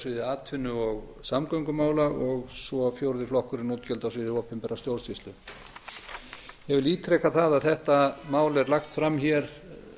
sviði atvinnu og samgöngumála og svo fjórði flokkurinn útgjöld á sviði opinberrar stjórnsýslu ég vil ítreka það að þetta mál er lagt fram hér